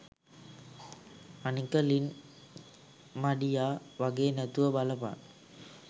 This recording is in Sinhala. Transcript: අනික ලින් මඩියා වගේ නැතුව බලපන්